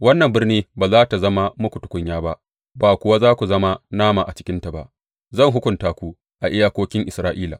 Wannan birni ba za tă zama muku tukunya ba, ba kuwa za ku zama nama a cikinta ba; zan hukunta ku a iyakokin Isra’ila.